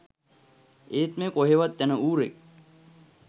ඒත් මේ කොහෙවත් යන ඌරෙක්